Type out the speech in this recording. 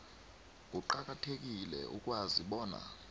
kuqakathekile ukwazi bona